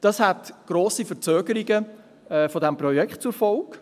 Dies hätte grosse Verzögerungen des Projekts zur Folge.